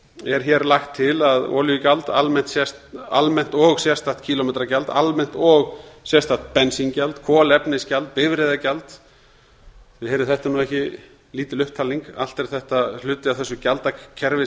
er hér lagt til að olíugjald almennt og sérstakt kílómetragjald almennt og sérstakt bensíngjald kolefnisgjald bifreiðagjald þið heyrið að þetta er ekki lítil upptalning allt er þetta hluti af þessu gjaldakerfi sem